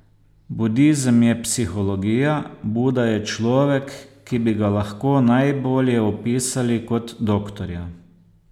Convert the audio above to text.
Budizem je psihologija, Buda je človek, ki bi ga lahko najbolje opisali kot doktorja.